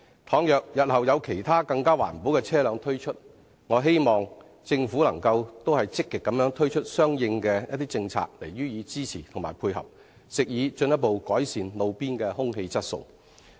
倘若日後有其他更環保的車輛推出，我希望政府亦能積極推出相應的政策予以支持及配合，藉以進一步改善路邊的空氣質素。